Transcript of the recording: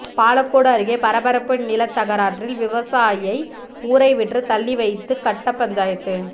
பாலக்கோடு அருகே பரபரப்பு நிலத்தகராறில் விவசாயியை ஊரைவிட்டு தள்ளி வைத்து கட்டப்பஞ்சாயத்து